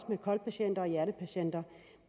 med kol patienters og hjertepatienters